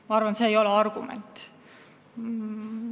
Ma arvan, et see ei ole argument.